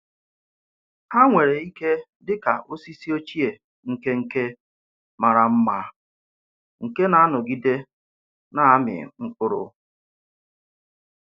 Hà nwere ike dị ka osisi ochie nke nke màrà mma nke na-anọgide na-amì mkpụrụ.